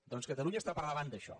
doncs catalunya està per davant d’això